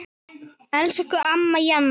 Elsku amma Jana.